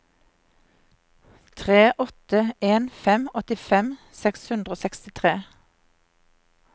tre åtte en fem åttifem seks hundre og sekstitre